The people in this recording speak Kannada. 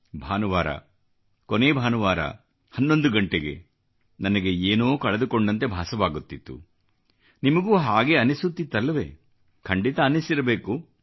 ಭಾನುವಾರ ಕೊನೇ ಭಾನುವಾರ 11 ಗಂಟೆಗೆ ನನಗೆ ಏನೋ ಕಳೆದುಕೊಂಡಂತೆ ಭಾಸವಾಗುತ್ತಿತ್ತು ನಿಮಗೂ ಹಾಗೇ ಅನ್ನಿಸುತ್ತಿತ್ತಲ್ಲವೇ ಖಂಡಿತ ಅನ್ನಿಸಿರಬೇಕು